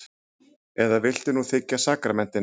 Eða viltu nú þiggja sakramentin?